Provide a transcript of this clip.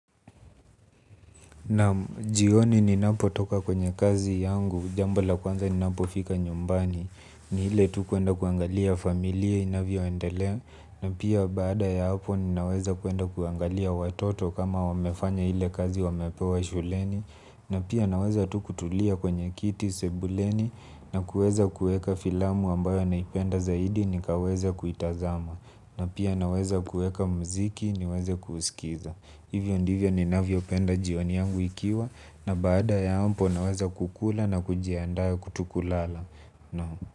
Na jioni ninapotoka kwenye kazi yangu, jambo la kwanza ninapofika nyumbani, ni ile tu kuenda kuangalia familia inavyoendelea, na pia baada ya hapo nina weza kuenda kuangalia watoto kama wamefanya ile kazi waliyopewa shuleni, na pia naweza tu kutulia kwenye kiti sebuleni, na kuweza kuweka filamu ambayo naipenda zaidi nikaweza kuitazama, na pia naweza kuweka mziki niweze kusikiza. Hivyo ndivyo ninavyo penda jioni yangu ikiwa na baada ya hapo naweza kukula na kujiandaa tu kulala.